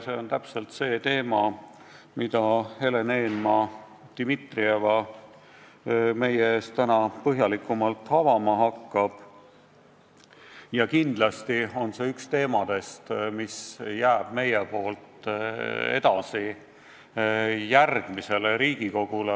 See on täpselt see teema, mida Helen Eenmaa-Dimitrieva meie ees täna põhjalikumalt avama hakkab, ja kindlasti on see üks teemadest, mis jääb meie poolt lauale järgmisele Riigikogule.